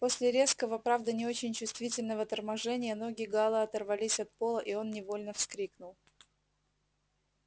после резкого правда не очень чувствительного торможения ноги гаала оторвались от пола и он невольно вскрикнул